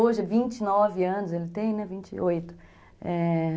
Hoje, é vinte e nove anos, ele tem, né? Vinte e oito, é...